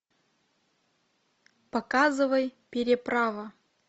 показывай переправа